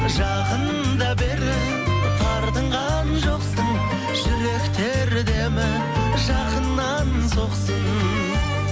жақында бері тартынған жоқсың жүректер демі жақыннан соқсын